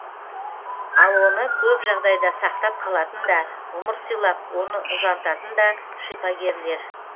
ал оны көп жағдайда сақтап қалатын да ғұмыр сыйлап оны ұзартатын да шипагерлер